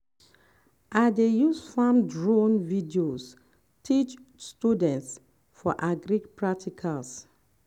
i dey use farm drone videos teach students for agri practicals.